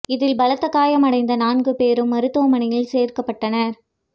இதில் பலத்த காயம் அடைந்த நான்குபேரும் மருத்துவ மனையில் சேர்க்கப்பட்டனர்